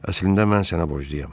Əslində mən sənə borcluyam.